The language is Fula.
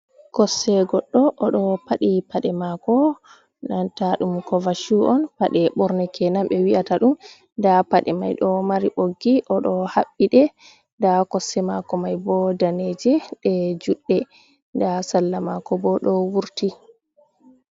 Kosde goɗɗo, odo paɗi paɗe mako, nanta dum kovashu on, paɗe borne kenan ɓe wi'ata dum, nɗa paɗe mai ɗo mari ɓoggi, odo haɓɓi ɗe nɗa kosɗe mako mai bo daneje, ɗe juɗɗe nɗa salla mako bo do wurti.